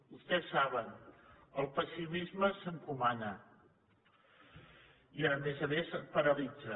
vostès ho saben el pessimisme s’encomana i a més a més paralitza